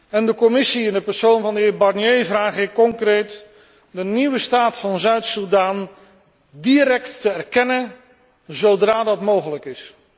En de Commissie in de persoon van de heer Barnier vraag ik concreet de nieuwe staat van Zuid Soedan direct te erkennen, zodra dat mogelijk is.